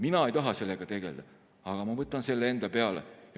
Mina ei taha sellega tegelda, aga ma võtan selle enda peale.